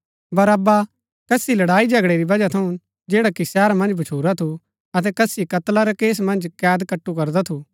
बरअब्बा कसी लड़ाईझगड़ै री बजहा थऊँ जैडा कि शहरा मन्ज भच्छुरा थू अतै कसी कत्ला रै केस मन्ज कैद कट्‍टू करदा थू